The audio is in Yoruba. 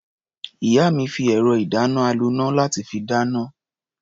Ìyá mi fi ẹ̀rọ-ìdáná-aloná láti fi dáná.